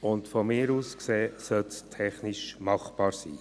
Aus meiner Sicht sollte das technisch machbar sein.